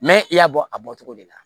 Mɛ i y'a bɔ a bɔcogo de la